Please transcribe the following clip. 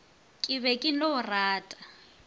ke be ke no rata